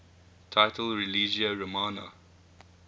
title religio romana